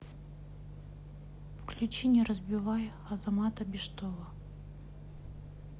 включи не разбивай азамата биштова